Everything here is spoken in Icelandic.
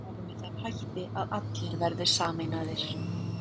Ég vil að andrúmsloftið verði með þeim hætti að allir verði sameinaðir.